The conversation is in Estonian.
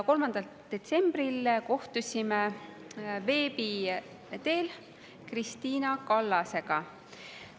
3. detsembril kohtusime veebi teel ka Krist`ina Kallasega.